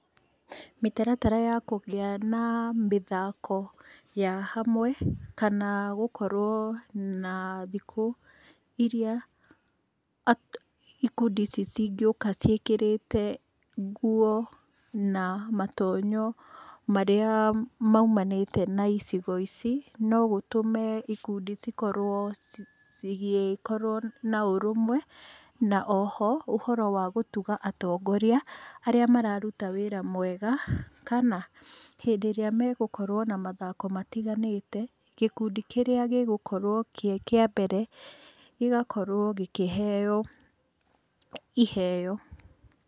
Mĩtaratara ya kũgĩa na mĩthako ya hamwe kana gũkorwo na thikũ iria ikundi ici cingĩũka ciĩkĩrĩte nguo na matonyo marĩa maumanĩte na icigo ici no gũtũme ikundi cikorwo cigĩkorwo na ũrũmwe, na oho, ũhoro wa gũtuga atongoria arĩa mararuta wĩra mwega kana hĩndĩ ĩrĩa megũkorwo na mathako matiganĩte, gĩkundi kĩrĩa gĩgũkorwo kĩ kĩa mbere, gĩgakorwo gĩkĩheo iheo.